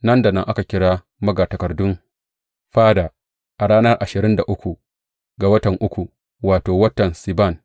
Nan da nan aka kira magatakardun fada, a ranar ashirin da uku ga watan uku, wato, watan Siban.